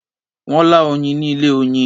Wọ́n lá oyin ni ilé-oyin.